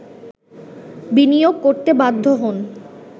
বিনিয়োগ করতে বাধ্য হন